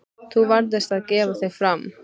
Þú varðst að gefa þig fram.